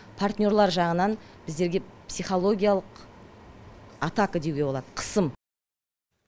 партнерлар жағынан біздерге психологиялық атака деуге болады қысым